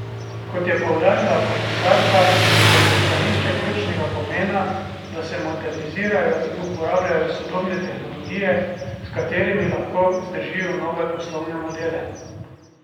Kot je poudarila komisarka, je za pristanišča ključnega pomena, da se modernizirajo in uporabljajo sodobne tehnologije, s katerimi lahko vzdržijo nove poslovne modele.